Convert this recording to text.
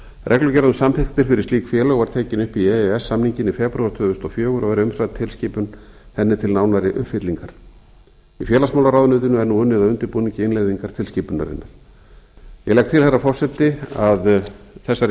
reglugerð um samþykktir fyrir slík félög var tekin upp í e e s samninginn í febrúar tvö þúsund og fjögur og er tilskipun henni til nánari uppfyllingar í félagsmálaráðuneytinu er nú unnið að undirbúningi innleiðingar tilskipunarinnar ég legg til herra forseti að þessari